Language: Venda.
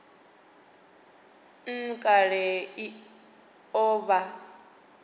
nha kale i o vha